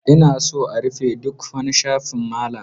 Ina son a rufe ɗuk wani shafin Malam.